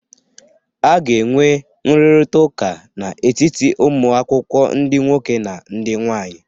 A ga-enwe nrụrịta ụka n'etiti ụmụ akwụkwọ ndị nwoke na ndị nwaanyị